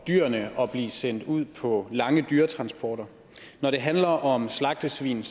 dyrene at blive sendt ud på lange dyretransporter når det handler om slagtesvin